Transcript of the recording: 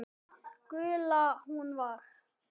Gulla. hún var.